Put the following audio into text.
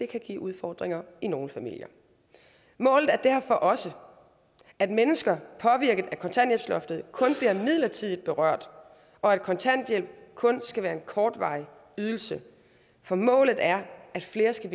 kan give udfordringer i nogle familier målet er derfor også at mennesker påvirket af kontanthjælpsloftet kun bliver midlertidigt berørt og at kontanthjælp kun skal være en kortvarig ydelse for målet er at flere skal